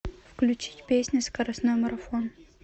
включить песня скоростной марафон